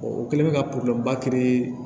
o kɛlen bɛ ka ba